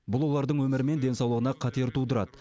бұл олардың өмірі мен денсаулығына қатер тудырады